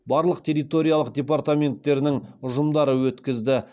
барлық территориялық департаменттерінің ұжымдары өткізді